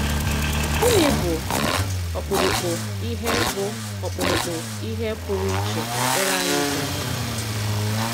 Gịnị bụ̀ ọkpụ̀rụ̀kpụ̀ ihé bụ̀ ọkpụ̀rụ̀kpụ̀ ihé pụrụ íchè ekpere anyị ga-enwe?